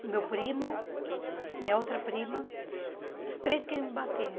O meu primo, minha outra prima, os três queriam me bater.